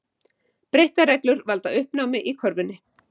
Breyttar reglur valda uppnámi í körfunni